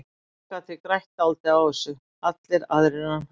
Fólk gat því grætt dálítið á þessu, allir aðrir en hann.